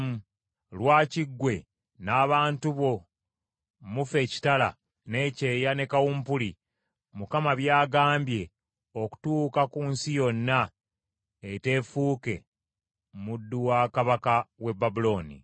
Lwaki ggwe n’abantu bo mufa ekitala, n’ekyeya ne kawumpuli Mukama by’agambye okutuuka ku nsi yonna eteefuuke muddu wa kabaka w’e Babulooni?